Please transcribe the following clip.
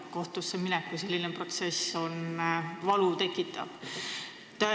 Kohtusse minek kui protsess tekitab valu.